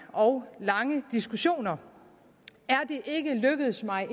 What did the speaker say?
og lange diskussioner er det ikke lykkedes mig